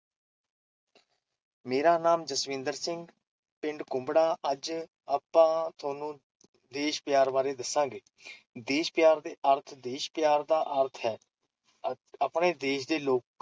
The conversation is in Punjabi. ਮੇਰਾ ਨਾਮ ਜਸਵਿੰਦਰ ਸਿੰਘ, ਪਿੰਡ ਕੁੰਬੜਾ, ਅੱਜ ਆਪਾਂ ਤੁਹਾਨੂੰ ਦੇਸ਼ ਪਿਆਰ ਬਾਰੇ ਦੱਸਾਂਗੇ, ਦੇਸ਼ ਪਿਆਰ ਦਾ ਅਰਥ- ਦੇਸ਼ ਪਿਆਰ ਦਾ ਅਰਥ ਹੈ- ਆਪਣੇ ਦੇਸ਼ ਦੇ ਲੋਕਾਂ